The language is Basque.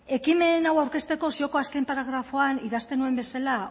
ekimen hau aurkezteko zioko azken paragrafoan idazten nuen bezala